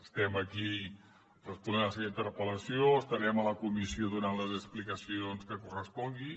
estem aquí responent la seva interpel·lació estarem a la comissió donant les explicacions que correspongui